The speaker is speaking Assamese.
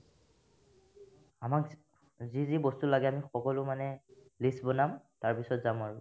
আমাক যি যি বস্তু লাগে আমি সকলো মানে list বনাম তাৰপিছত যাম আৰু